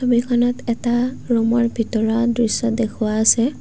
ছবিখনত এটা ৰুমৰ ভিতৰৰ দৃশ্য দেখুওৱা আছে।